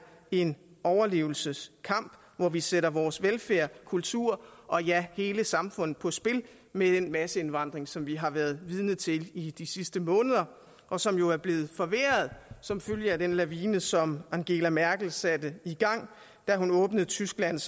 en overlevelseskamp hvor vi sætter vores velfærd kultur og ja hele samfundet på spil med den masseindvandring som vi har været vidne til i de sidste måneder og som jo er blevet forværret som følge af den lavine som angela merkel satte i gang da hun åbnede tysklands